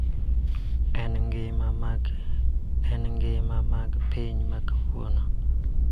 E ngima mag piny ma kawuono.